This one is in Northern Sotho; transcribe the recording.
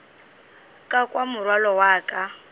ka kwa morwalo wa ka